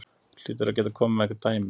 Þú hlýtur að geta komið með einhver dæmi?